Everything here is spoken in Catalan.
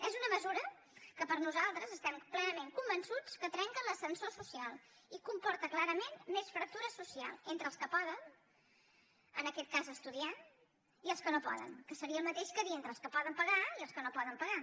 és una mesura que per nosaltres estem plenament convençuts que trenca l’ascensor social i comporta clarament més fractura social entre els que poden en aquest cas estudiar i els que no poden que seria el mateix que dir entre els que poden pagar i els que no poden pagar